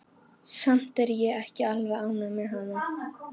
Samt er ég ekki alveg ánægð með hana.